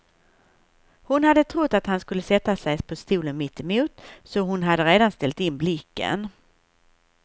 Hon hade trott att han skulle sätta sig på stolen mittemot, så hon hade redan ställt in blicken.